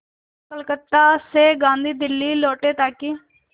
कलकत्ता से गांधी दिल्ली लौटे ताकि